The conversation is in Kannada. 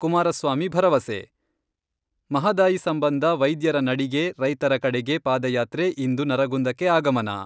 ಕುಮಾರಸ್ವಾಮಿ ಭರವಸೆ, ಮಹದಾಯಿ ಸಂಬಂಧ ವೈದ್ಯರ ನಡಿಗೆ ರೈತರ ಕಡೆಗೆ ಪಾದಯಾತ್ರೆ ಇಂದು ನರಗುಂದಕ್ಕೆ ಆಗಮನ.